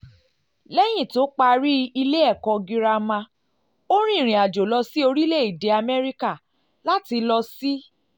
lẹ́yìn tó parí ilé tó parí ilé ẹ̀kọ́ girama ó rìnrìn àjò lọ sí orílẹ̀-èdè amẹ́ríkà láti lọ sí